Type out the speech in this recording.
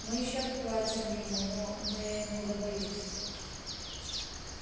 мы ещё отплатим ему но но я немного боюсь